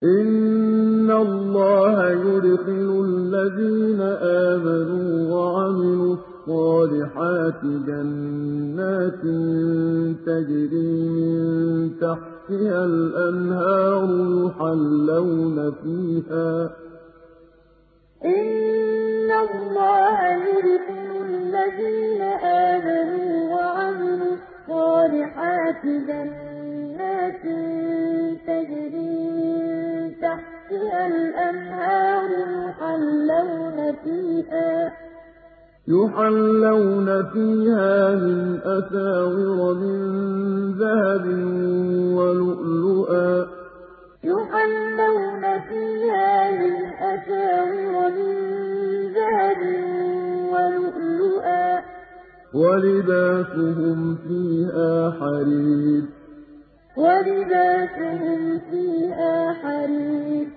إِنَّ اللَّهَ يُدْخِلُ الَّذِينَ آمَنُوا وَعَمِلُوا الصَّالِحَاتِ جَنَّاتٍ تَجْرِي مِن تَحْتِهَا الْأَنْهَارُ يُحَلَّوْنَ فِيهَا مِنْ أَسَاوِرَ مِن ذَهَبٍ وَلُؤْلُؤًا ۖ وَلِبَاسُهُمْ فِيهَا حَرِيرٌ إِنَّ اللَّهَ يُدْخِلُ الَّذِينَ آمَنُوا وَعَمِلُوا الصَّالِحَاتِ جَنَّاتٍ تَجْرِي مِن تَحْتِهَا الْأَنْهَارُ يُحَلَّوْنَ فِيهَا مِنْ أَسَاوِرَ مِن ذَهَبٍ وَلُؤْلُؤًا ۖ وَلِبَاسُهُمْ فِيهَا حَرِيرٌ